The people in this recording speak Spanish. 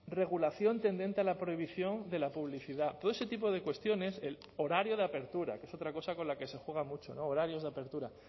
regulación tendente a la prohibición de la publicidad todo ese tipo de cuestiones el horario de apertura que es otra cosa con la que se juega mucho no horarios de apertura